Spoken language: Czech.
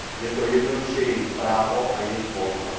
Je to jednoduše jejich právo a jejich volba.